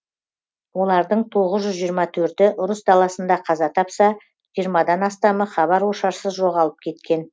олардың тоғыз жүз жиырма төрті ұрыс даласында қаза тапса жиырмадан астамы хабар ошарсыз жоғалып кеткен